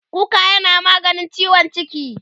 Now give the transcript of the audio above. kuka yana maganin ciwon ciki